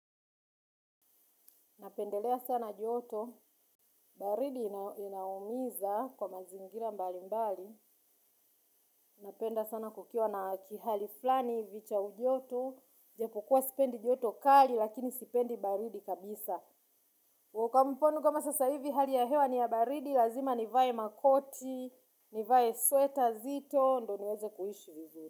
Napendelea sana joto. Baridi inaumiza kwa mazingira mbalimbali. Napenda sana kukiwa na kihali fulani hivi cha ujoto. Japo kuwa sipendi joto kali lakini sipendi baridi kabisa. Kwa mfano kama sasahivi hali ya hewa ni ya baridi. Lazima nivae makoti, nivae sweta zito. Ndo niweze kuishi vizuri.